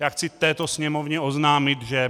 Já chci této Sněmovně oznámit, že